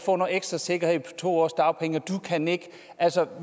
få noget ekstra sikkerhed på to års dagpenge og at du kan ikke altså